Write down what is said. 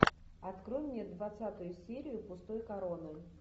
открой мне двадцатую серию пустой короны